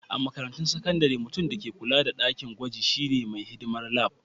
A makarantun sakandare, mutum da ke kulawa da dakin gwajin shine mai hidimar Lab.